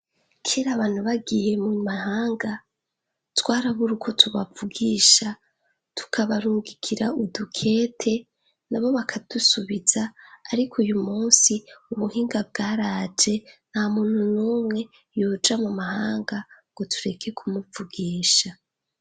Kera abantu bagiye mu mahanga twarabura uko tubavugisha tukabarungikira udukete na bo bakadusubiza, ariko uyu musi ubuhinga bwaraje na muntu n'umwe yoja mu mahanga ngo tureke kumuvugisha.